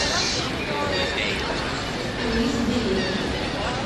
круиз билет